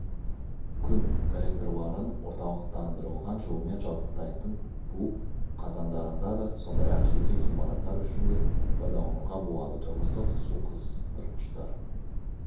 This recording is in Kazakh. күн коллекторларын орталықтандырылған жылумен жабдықтайтын бу қазандарында да сондай-ақ жеке ғимараттар үшін де пайдалануға болады тұрмыстық суқыздырғыштар